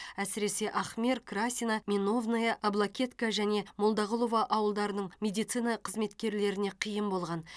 әсіресе ахмер красина меновное аблакетка және молдағұлова ауылдарының медицина қызметкерлеріне қиын болған